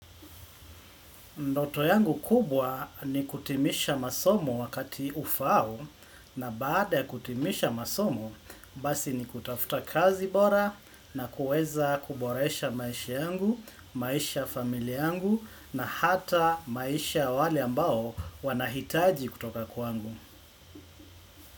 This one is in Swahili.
Ndoto yangu kubwa ni kutimisha masomo wakati ufaao na baada ya kutimisha masomo basi nikutafuta kazi bora na kuweza kuboresha maisha yangu, maisha ya familia yangu na hata maisha ya wale ambao wanahitaji kutoka kwangu.